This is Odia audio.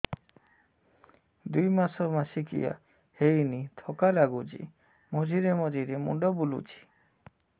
ଦୁଇ ମାସ ମାସିକିଆ ହେଇନି ଥକା ଲାଗୁଚି ମଝିରେ ମଝିରେ ମୁଣ୍ଡ ବୁଲୁଛି